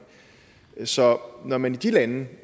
så når man i de lande